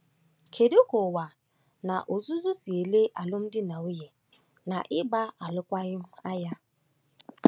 Kedu ka ụwa n’ozuzu si ele alụmdi na nwunye na ịgba alụkwaghịm anya?